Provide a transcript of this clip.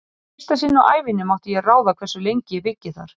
Í fyrsta sinn á ævinni mátti ég ráða hversu lengi ég byggi þar.